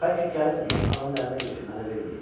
Bəlkə gəlibmiş, anamın əlinə keçib mənə verməyib.